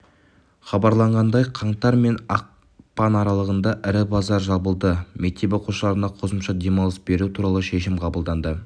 хабарланғандай қаңтар мен ақпанаралығында ірі базар жабылады мектеп оқушыларына қосымша демалыс беру туралы шешім қабылданды